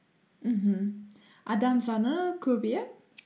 мхм адам саны көп иә